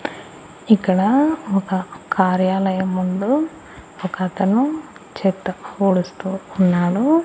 ఇక్కడా ఒక కార్యాలయం ముందు ఒకతను చెట్టు పూడుస్తూ ఉన్నాడు.